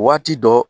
Waati dɔ